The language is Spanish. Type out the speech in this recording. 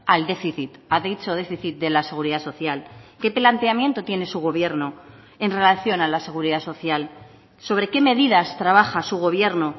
al déficit ha dicho déficit de la seguridad social qué planteamiento tiene su gobierno en relación a la seguridad social sobre qué medidas trabaja su gobierno